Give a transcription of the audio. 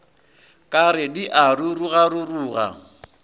ka re di a rurugaruruga